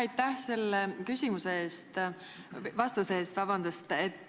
Aitäh selle vastuse eest!